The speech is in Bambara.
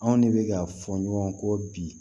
Anw ne bɛ ka fɔ ɲɔgɔn kɔ bi